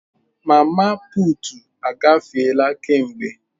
Mama putu agafeela kemgbe.